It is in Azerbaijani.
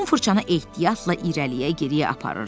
Tom fırçanı ehtiyatla irəliyə geriyə aparırdı.